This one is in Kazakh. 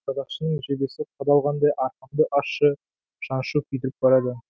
садақшының жебесі қадалғандай арқамды ащы шаншу күйдіріп барады